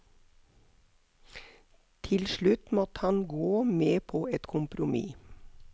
Til slutt måtte han gå med på et kompromiss.